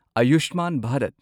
Ayushman Bharat